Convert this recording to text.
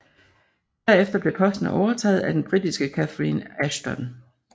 Derefter blev posten overtaget af den britiske Catherine Ashton